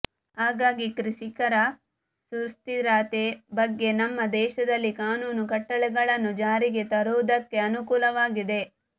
ಹಾಗಾಗಿ ಕೃಷಿಕರ ಸುಸ್ಥಿರತೆ ಬಗ್ಗೆ ನಮ್ಮ ದೇಶದಲ್ಲಿ ಕಾನೂನು ಕಟ್ಟಳೆಗಳನ್ನು ಜಾರಿಗೆ ತರುವುದಕ್ಕೆ ಅನುಕೂಲವಾಗಿದೆ